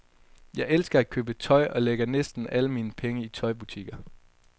Jeg elsker at købe tøj og lægger næsten alle mine penge i tøjbutikker.